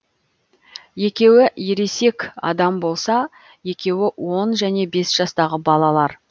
екеуі ересек адам болса екеуі он және бес жастағы балалар